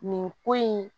Nin ko in